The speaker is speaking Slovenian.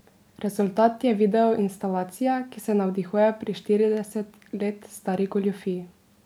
Rezultat je videoinstalacija, ki se navdihuje pri štirideset let stari goljufiji.